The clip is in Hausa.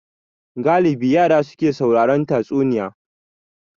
Galibi yara su ke sauraron tatsuniya